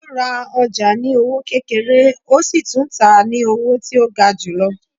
O rá ọja ní owó kékéré, o sí tún tá ní owó tí o gá julọ